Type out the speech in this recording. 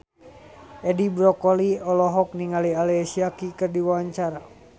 Edi Brokoli olohok ningali Alicia Keys keur diwawancara